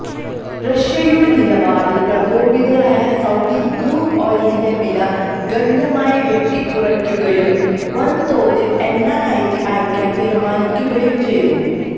റഷ്യയുടെ നിലപാടിൽ പ്രകോപിതരായ സൌദി ക്രൂഡ് ഓയിലിന്റെ വില ഗണ്യമായി വെട്ടിക്കുറക്കുകയും വൻതോതിൽ എണ്ണ കയറ്റി അയക്കാൻ തീരുമാനിക്കുകയും ചെയ്തു